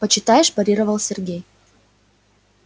почитаешь парировал сергей